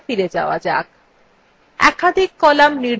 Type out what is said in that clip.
আবার পূর্বাবস্থায় ফিরে যাওয়া যাক